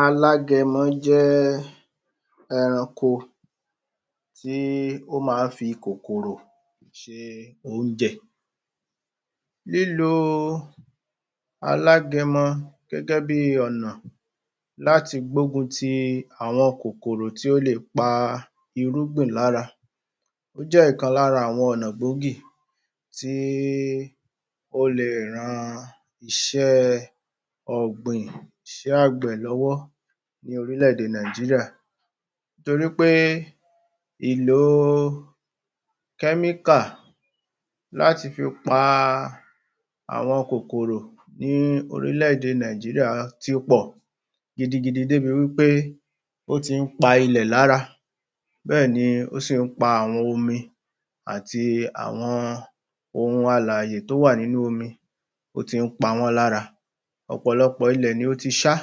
Alágẹmọ jẹ́ ẹranko tí ó máa ń fi kòkòrò ṣe oúnjẹ lílọ Alágẹmọ gẹ́gẹ́ bí ọ̀nà láti gbógun ti àwọn kòkòrò tí ó lè pa irúgbìn lára Ó jẹ́ ọ̀kan lára ọ̀nà gbòógì tí ó lè ran iṣẹ́ ọ̀gbìn iṣẹ́ àgbẹ̀ lọ́wọ́ ní orílé èdè Nàìjíríà torí pé ìlò kẹ́míkà láti fipa àwọn kòkòrò ní orílé èdè Nàìjíríà ti pọ̀ gidigidi dé ibi wí pé ó ti ń pa ilẹ̀ lára bẹ́ẹ̀ni ó sì ń pa àwọn omi àti àwọn ohun alààyè tí ó wà nínú omi ó tì ń pa wọ́n lára ọ̀pọ̀lọpọ̀ ilẹ̀ ló ti ṣá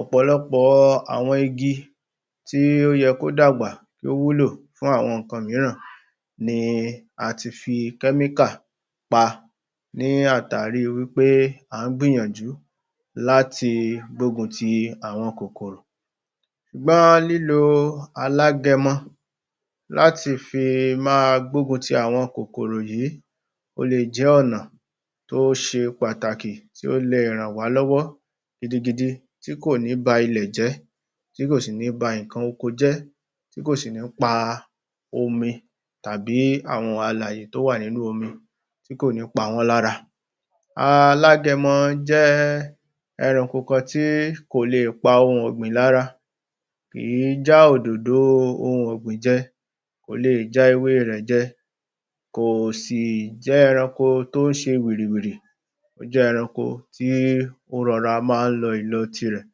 ọ̀pọ̀lọpọ̀ àwọn igi tí ó yẹ kí ó dàgbà kí ó wúlò fún àwọn nǹkan mìíràn ni a ti fi kẹ́míkà pa ní àtàrí pé à ń gbìyànjú láti gbógun ti àwọn kòkòrò Ọgbọ́n lílọ Alágẹmọ láti fi ma gbógun ti àwọn kòkòrò yìí ó lè jẹ́ ọ̀nà tí ó ṣe pàtàkì tí o lè ràn wá lọ́wọ́ gidigidi tí kò ní ba ilẹ̀ jẹ́ tí kò sí ní ba nǹkan oko jẹ́ tí kò sì ní pa omi tàbí àwọn alàyè tí ó wà nínú omi tí kò ní pa wọ́n lára Alágẹmọ jẹ́ ẹranko kan tí kò lè pa ohun ọ̀gbìn lára kì í já òdòdò ohun ọ̀gbìn jẹ kò lè já ewé rẹ̀ jẹ kò sì jẹ́ ẹranko tí ó ń ṣe wìrìwìrì ó jẹ́ eranko tí ó rọra máa ń lọ ìlọ tirẹ̀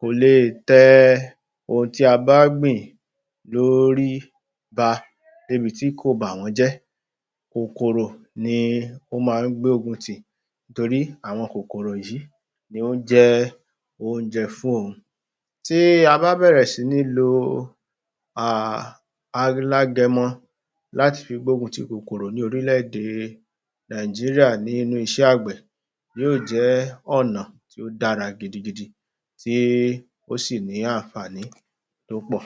kò lè tẹ ohun tí a bá gbìn lórí pa dé ibi tí kò bá wọ́n jẹ́ kòkòrò ni ó máa ń gbógun tì torí àwọn kòkòrò yìí ló ń jẹ́ oúnjẹ fún òun Tí a bá bẹ̀ẹ̀rẹ̀ sí ń lọ Alágẹmọ láti fi gbógun ti kòkòrò ní orílé èdè Nàìjíríà nínú ìṣe àgbẹ̀ yóò jẹ́ ọ̀nà tí ó dára gidigidi tí ó sì ní àǹfààní tí ó pọ̀